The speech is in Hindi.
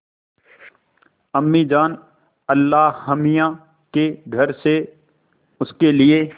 अम्मीजान अल्लाहमियाँ के घर से उसके लिए